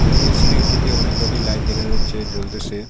উপরের সিলিং -টিতে অনেক কয়টি লাইট দেখা যাচ্ছে জ্বলতেসে।